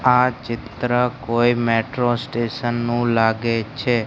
આ ચિત્ર કોઈ મેટ્રો સ્ટેશન નુ લાગે છે.